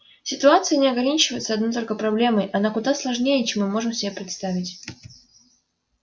ситуация не ограничивается одной только проблемой она куда сложнее чем мы можем себе представить